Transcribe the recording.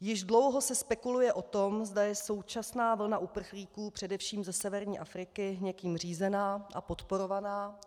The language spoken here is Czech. Již dlouho se spekuluje o tom, zda je současná vlna uprchlíků, především ze severní Afriky, někým řízená a podporovaná.